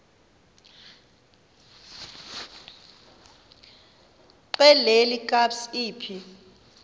xelel kabs iphi